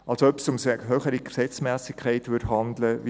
Als ob es sich um eine höhere Gesetzmässigkeit handeln würde.